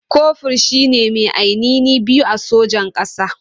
Kofur shi ne mai anini biyu a sojan ƙasa.